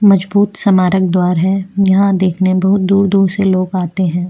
मजबूत समारक द्वार है यहाँ देखने बहुत दूर-दूर से लोग आते है।